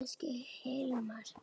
Elsku Hilmar.